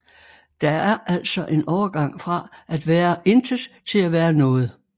Der er altså en overgang fra at være et intet til at være et noget